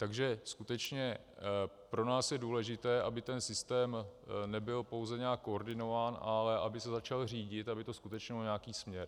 Takže skutečně pro nás je důležité, aby ten systém nebyl pouze nějak koordinován, ale aby se začal řídit, aby to skutečně mělo nějaký směr.